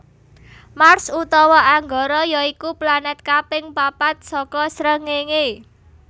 Mars utawa Anggara ya iku planèt kaping papat saka srengéngé